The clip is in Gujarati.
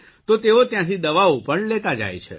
તો તેઓ ત્યાંથી દવાઓ પણ લેતા જાય છે